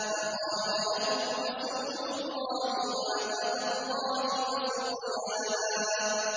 فَقَالَ لَهُمْ رَسُولُ اللَّهِ نَاقَةَ اللَّهِ وَسُقْيَاهَا